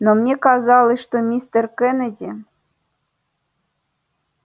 но мне казалось что мистер кеннеди